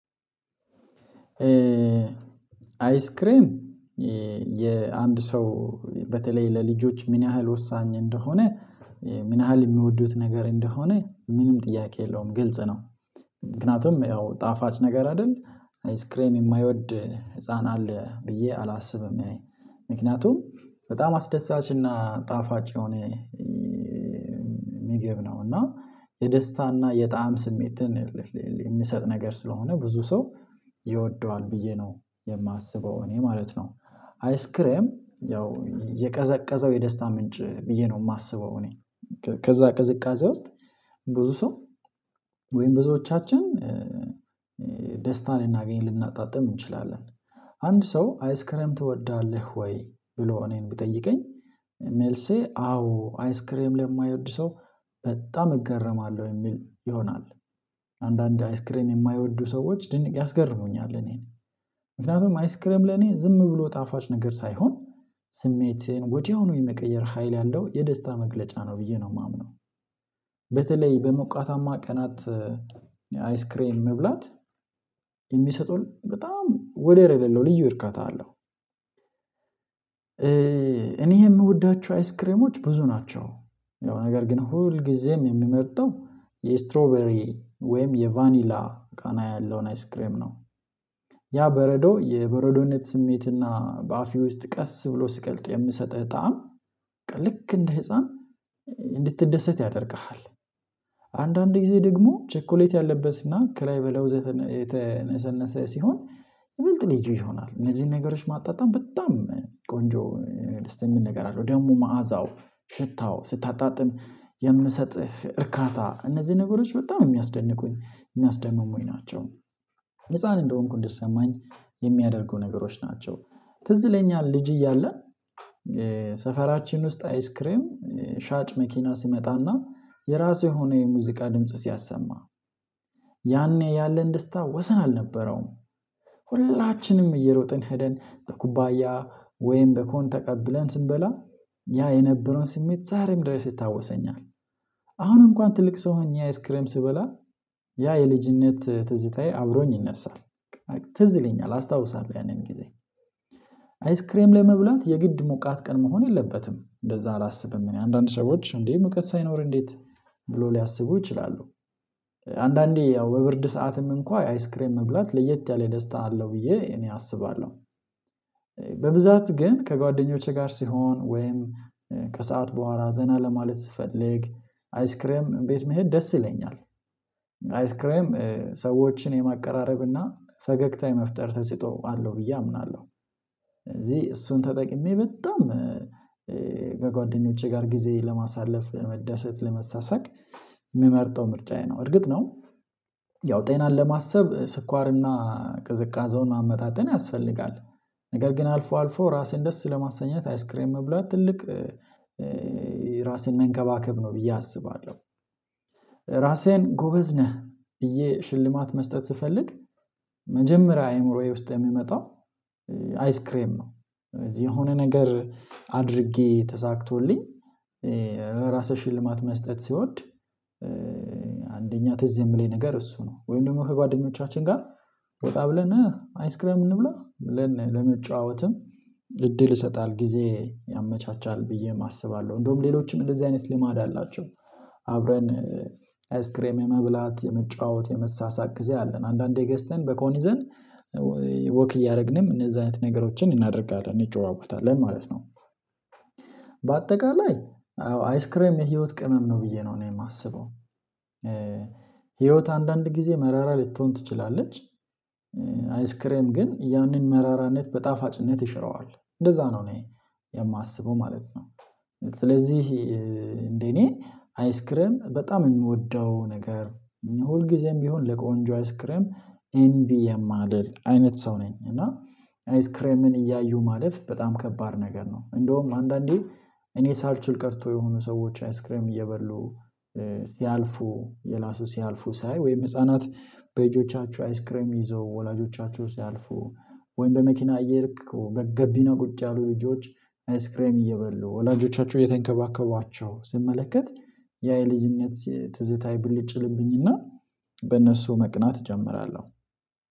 አይስክሬም የአንድ ሰው በተለይ ለልጆች ምን ያህል ወሳኝ እንደሆነ ምን ያህል የሚወዱት ነገር እንደሆነ ምንም ጥያቄ የለውም ግልጽ ነው። ምክንያቱም ያው ጣፋጭ ነገር አይደል አይስክሬም የማይወድ ህፃን አለ ብዬ አላስብም። እኔ ምክንያቱም በጣም አስደሳች እና ጣፋጭ የሆነ ምግብ ነው። እና የደስታና የጣዕም ስሜትን የሚሰጥ ነገር ስለሆነ ብዙ ሰው ይወደዋል ብዬ ነው የማስበው እኔ ማለት ነው። አይስክሬም ያው የቀዘቀዘው የደስታ ምንጭ ብዬ ነው የማስበው እኔ። ከዛ ቅዝቃዜ ውስጥ ብዙ ሰው ወይም ብዙዎቻችን ደስታን ልናገኝ ልናጣጥም እንችላለን። አንድ ሰው አይስክሬም ትወዳለህ ወይ? ብሎ እኔን ብጠይቀኝ ሜልሴ አዎ አይስክሬም ለማይወድ ሰው በጣም እገረማለሁ የሚል ይሆናል። አንዳንድ አይስክሬም የማይወዱ ሰዎች ድንቅ ያስገርሙኛል እኔን። ምክንያቱም አይስክሬም ለኔ ዝም ብሎ ጣፋጭ ነገር ሳይሆን ስሜቴን ወዲያውኑ የመቀየር ሀይል ያለው የደስታ መግለጫ ነው ብዬ ነው የማምነው። በተለይ በሞቃታማ ቀናት አይስክሬም መብላት የሚሰጡን በጣም ወደር የሌለው ልዩ እርካታ አለው። እኔ የምወዳቸው አይስክሬሞች ብዙ ናቸው። ያው ነገር ግን ሁልጊዜም የምመርጠው የስትሮበሪ ወይም የቫኒላ ቃና ያለውን አይስክሬም ነው። ያ በረዶ የበረዶነት ስሜትና በአፌ ውስጥ ቀስ ብሎ ሲቀልጥ የሚሰጠኝ ጣዕም ልክ እንደ ህፃን እንድትደሰት ያደርግሃል። አንዳንድ ጊዜ ደግሞ ቸኮሌት ያለበትና ከላይ ለው የተነሰነሰ ሲሆን። ብልጥ ልጅ ይሆናል እነዚህን ነገሮች ማጣጣም በጣም ቆንጆ ደስ የሚል ነገር አለው። ደግሞ መዓዛው ሽታው ስታጣጥም የሚሰጥህ እርካታ እነዚህ ነገሮች በጣም የሚያስደንቁኝ የሚያስደምሙኝ ናቸው። ህፃን እንደሆንኩ እንዲሰማኝ የሚያደርጉ ነገሮች ናቸው። ትዝ ይለኛል ልጅ እያለን ሰፈራችን ውስጥ አይስክሬም ሻጭ መኪና ሲመጣና የራሱ የሆነ የሙዚቃ ድምጽ ሲያሰማ። ያኔ ያለን ደስታ ወሰን አልነበረውም። ሁላችንም እየሮጥን ሄደን በኩባያ ወይም በኮን ተቀብለን ስንበላ ያ የነበረውን ስሜት ዛሬም ድረስ ይታወሰኛል። አሁን እንኳን ትልቅ ሰው ሆኜ አይስክሬም ስበላ ያ የልጅነት ትዝታዬ አብሮኝ ይነሳል። ትዝ ይለኛል አስታውሳለሁ ያንን ጊዜ። አይስክሬም ለመብላት የግድ ሞቃት ቀን መሆን የለበትም እንደዛ አላስብም። እኔ አንዳንድ ሰዎች እንዴ ሙቀት ሳይኖር እንዴት? ብሎ ሊያስቡ ይችላሉ። አንዳንዴ ያው በብርድ ሰዓትም እንኳን አይስክሬም መብላት ለየት ያለ ደስታ አለው ብዬ እኔ አስባለሁ። በብዛት ግን ከጓደኞቼ ጋር ስሆን ወይም ከሰአት በኋላ ዘና ለማለት ስፈልግ አይስክሬም ቤት መሄድ ደስ ይለኛል። አይስክሬም ሰዎችን የማቀራረብና ፈገግታ የመፍጠር ተሰጥኦ አለው ብዬ አምናለሁ። እዚህ እሱን ተጠቅሜ በጣም ከጓደኞቼ ጋር ጊዜ ለማሳለፍ ለመደሰት ለመሳሰቅ። የምመርጠው ምርጫዬ ነው እርግጥ ነው። ያው ጤናን ለማሰብ ስኳርና ቅዝቃዜውን ማመጣጠን ያስፈልጋል። ነገር ግን አልፎ አልፎ ራሴን ደስ ለማሳኘት አይስክሬን መብላት ትልቅ ራሴን መንከባከብ ነው ብዬ አስባለሁ። ራሴን ጎበዝ ነህ ብዬ ሽልማት መስጠት ስፈልግ መጀመሪያ አይምሮዬ ውስጥ የሚመጣው አይስክሬም ነው። የሆነ ነገር አድርጌ ተሳክቶልኝ ራሴን ሽልማት መስጠት ሲወድ። አንደኛ ትዝ የሚለኝ ነገር እሱ ነው ወይም ደግሞ ከጓደኞቻችን ጋር ወጣ ብለን አይስክሬም እንብላ ብለን ለመጫወትም እድል ይሰጣል ጊዜ ያመቻቻል ብዬ አስባለሁ። እንደውም ሌሎችም እንደዚህ አይነት ልማድ አላቸው። አብረን አይስክሬም የመብላት የመጫወት የመሳሳቅ ጊዜ አለን አንዳንዴ ገዝተን በኮን ይዘን ወክ እያደረግንም እነዛ አይነት ነገሮችን እናደርጋለን እንጨዋወታለን ማለት ነው። በአጠቃላይ አዎ አይስክሬም የህይወት ቅመም ነው ብዬ ነው እኔ የማስበው። ህይወት አንዳንድ ጊዜ መራራ ልትሆን ትችላለች። አይስክሬም ግን ያንን መራራነት በጣፋጭነት ይሽረዋል እንደዛ ነው የማስበው ማለት ነው። ስለዚህ እንደኔ አይስክሬም በጣም የምወደው ነገር ሁልጊዜም ቢሆን ለቆንጆ አይስክሬም እንቢ የማልልል አይነት ሰው ነኝ። እና አይስክሬምን እያዩ ማለፍ በጣም ከባድ ነገር ነው። እንደውም አንዳንዴ እኔ ሳልችል ቀርቶ የሆኑ ሰዎች አይስክሬም እየበሉ ሲያልፉ እየላሱ ሲያልፉ ሳይ ወይም ህፃናት በእጆቻችሁ አይስክሬም ይዘው ወላጆቻችሁ ሲያልፉ ወይም በመኪና እየልክ በገቢና ቁጭ ያሉ ልጆች አይስክሬም እየበሉ ወላጆቻቸው እየተንከባከቧቸው ስመለከት ያ የልጅነት ትዝታዬ ብልጭ ይልብኝና። በእነሱ መቅናት እጀምራለሁ።